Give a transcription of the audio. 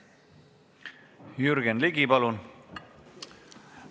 Jürgen Ligi, palun!